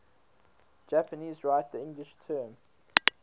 japanese write the english term